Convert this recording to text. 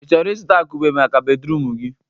Ị chọrọ ịzụta akupe maka bedruum gi?